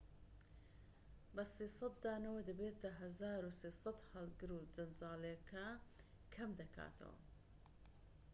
بە ٣٠٠ دانەوە دەبێتە ١٣٠٠ هەڵگر و جەنجاڵیەکە کەم دەکاتەوە